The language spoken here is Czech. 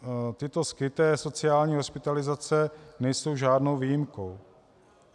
Tyto skryté sociální hospitalizace nejsou žádnou výjimkou.